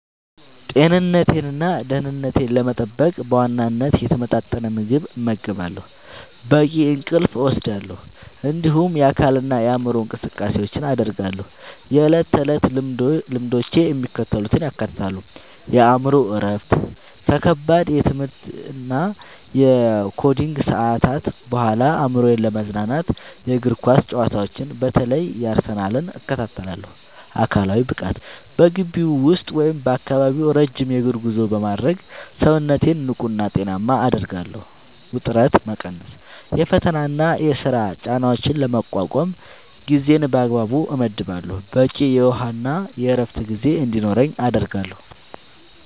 ጤንነቴንና ደህንነቴን ለመጠበቅ በዋናነት የተመጣጠነ ምግብ እመገባለሁ፣ በቂ እንቅልፍ እወስዳለሁ፣ እንዲሁም የአካልና የአእምሮ እንቅስቃሴዎችን አደርጋለሁ። የዕለት ተዕለት ልምዶቼ የሚከተሉትን ያካትታሉ፦ የአእምሮ እረፍት፦ ከከባድ የትምህርትና የኮዲንግ ሰዓታት በኋላ አእምሮዬን ለማዝናናት የእግር ኳስ ጨዋታዎችን (በተለይ የአርሰናልን) እከታተላለሁ። አካላዊ ብቃት፦ በግቢ ውስጥ ወይም በአካባቢው ረጅም የእግር ጉዞ በማድረግ ሰውነቴን ንቁና ጤናማ አደርጋለሁ። ውጥረት መቀነስ፦ የፈተናና የሥራ ጫናዎችን ለመቋቋም ጊዜን በአግባቡ እመድባለሁ፣ በቂ የውሃና የዕረፍት ጊዜ እንዲኖረኝም አደርጋለሁ።